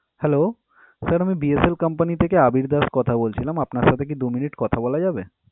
Hello, Sir আমি BSL company থেকে আবীর দাস কথা বলছিলাম। আপনার সাথে কি দু minute কথা বলা যাবে?